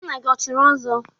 Nna gị o chiri ọzọ?